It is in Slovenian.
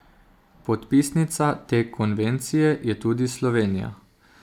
Podpisnica te konvencije je tudi Slovenija.